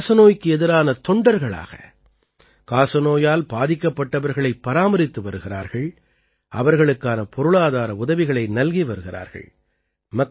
இவர்கள் காசநோய்க்கு எதிரான தொண்டர்களாக காசநோயால் பாதிக்கப்பட்டவர்களைப் பராமரித்து வருகிறார்கள் அவர்களுக்கான பொருளாதார உதவிகளை நல்கி வருகிறார்கள்